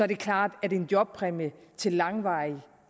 det klart at en jobpræmie til langvarigt